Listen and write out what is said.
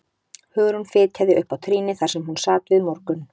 Hugrún fitjaði upp á trýnið þar sem hún sat við morgun